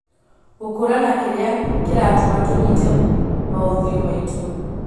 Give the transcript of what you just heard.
Gũkũrana kĩrĩa kĩratũma tũnyite maũthiũ maitũ